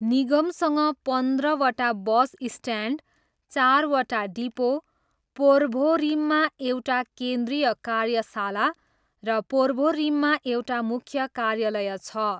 निगमसँग पन्ध्रवटा bus stand, चारवटा depot, पोर्भोरिममा एउटा केन्द्रीय कार्यशाला र पोर्भोरिममा एउटा मुख्य कार्यालय छ।